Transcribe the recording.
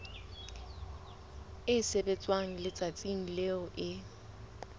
e sebetswa letsatsing leo e